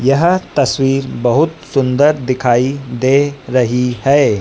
यह तस्वीर बहोत सुंदर दिखाई दे रही है।